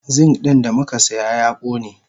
Zink din damukasiya ya kone.